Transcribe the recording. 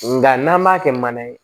Nga n'an m'a kɛ mana ye